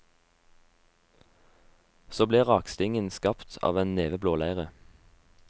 Så ble rakstingen skapt, av en neve blåleire.